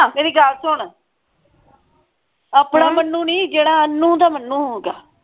ਮੇਰੀ ਗੱਲ ਸੁਨ ਆਪਣਾ ਮਨੁ ਨਹੀਂ ਜਿਹੜਾ ਅਨੂ ਦਾ ਮਨੁ ਹੈਗਾ